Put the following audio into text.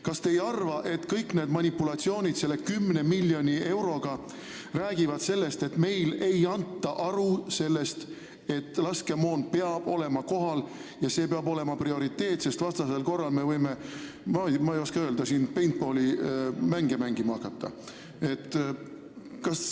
Kas te ei arva, et kõik need manipulatsioonid selle 10 miljoni euro ümber räägivad sellest, et meil ei anta endale aru: laskemoon peab olema kohal ja see peab olema prioriteet, sest vastasel korral me võime hakata, ma ei oska öelda, paintball'i mängima.